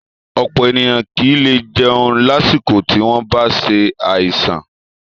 Ọ̀pọ̀ ènìyàn kì í lè jẹun lásìkò tí wọ́n bá ṣe àìsàn